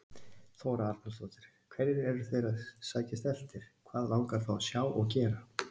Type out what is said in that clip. Þóra Arnórsdóttir: Hverju eru þeir að sækjast eftir, hvað langar þá að sjá og gera?